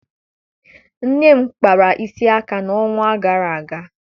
Nne m kpara isi aka n'ọnwa gara aga